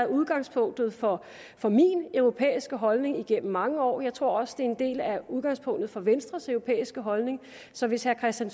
udgangspunktet for for min europæiske holdning igennem mange år og jeg tror også det en del af udgangspunktet for venstres europæiske holdning så hvis herre kristian